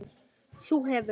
þú hefir